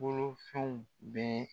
Bolofɛnw bɛɛ